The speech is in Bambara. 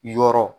Yɔrɔ